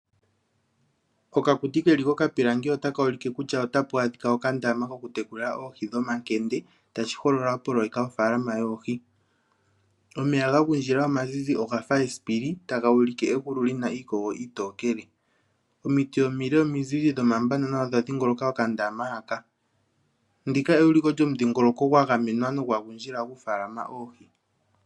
Okakuti ke li kokapilangi otaka ulike kutya otapu adhika okandama kokutekula oohi dhomakende tashi holola opoloyeka yofaalama yoohi. Omeya ga gundjila omazizi oga fa esipili taga ulike egulu li na iikogo iitokele. Omiti omile omizizi dhomabana odha dhingoloka okandama haka. Ndika euliko lyomudhingoloko gwa gamenwa nogwa gundjila okufaalama oohi.